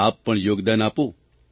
આપ પણ યોગદાન આપો